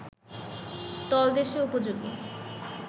তলদেশ উপযোগী